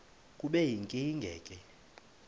kube yinkinge ke